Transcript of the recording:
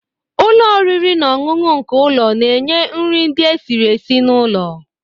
Ụlọ oriri na ọṅụṅụ nke ụlọ na-enye nri ndị esiri esi n'ụlọ.